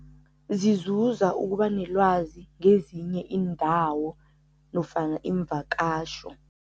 Zizuza ukuba nelwazi ngezinye iindawo nofana imvakasho.